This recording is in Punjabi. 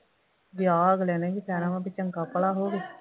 ਵਿਆਹ ਅਗਲੇ ਨੇ ਵੀ ਕਹਿਣਾ ਵਾ ਬਈ ਚੰਗਾ ਭਲਾ ਹੋਵੇ